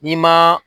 N'i ma